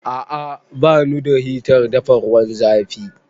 A'a, ba nu da hitar dafa ruwan zafi